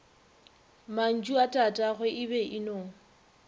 mantšuatatagwe e be e no